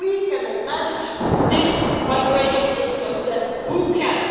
If we cannot manage this migration influx, then who can?